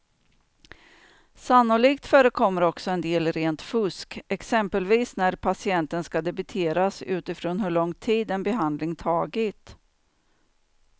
Sannolikt förekommer också en del rent fusk, exempelvis när patienten ska debiteras utifrån hur lång tid en behandling tagit.